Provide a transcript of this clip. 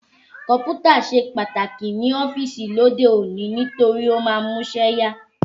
Kọ̀mpútà ṣe pàtàkì ní ọ́fíìsì lóde òní nítorí ó máa ń múṣẹ́ yá